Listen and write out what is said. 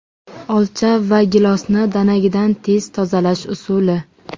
Olcha va gilosni danagidan tez tozalash usuli .